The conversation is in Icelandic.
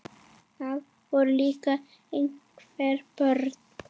Það voru líka einhver börn.